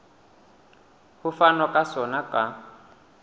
ho fanwa ka sona ka